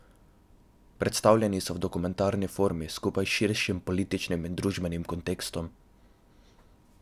Predstavljeni so v dokumentarni formi skupaj s širšim političnim in družbenim kontekstom.